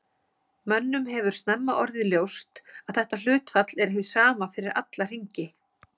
Mönnum hefur snemma orðið ljóst að þetta hlutfall er hið sama fyrir alla hringi.